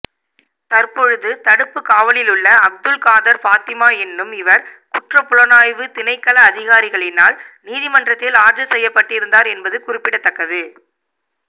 தற்பொழுது தடுப்புக் காவலிலுள்ள அப்துல் காதர் பாத்திமா எனும் இவர் குற்றப்புலனாய்வுத் திணைக்கள அதிகாரிகளினால் நீதிமன்றத்தில் ஆஜர்செய்யப்பட்டிருந்தார் என்பது குறிப்பிடத்தக்கது